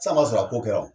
San ma sɔrɔ a ko kɛra o